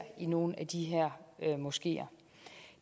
i nogle af de her moskeer